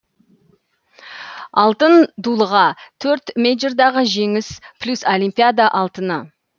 алтын дулыға төрт мэйджордағы жеңіс плюс олимпиада алтыны